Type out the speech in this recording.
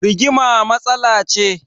Rigima matsala ce